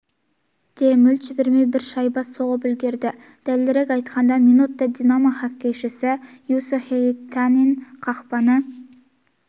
де мүлт жібермей бір шайба соғып үлгерді дәлірек айтқанда минутта динамо хоккейшісі юусо хиетанен қақпаны